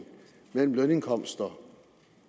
mellem lønindkomster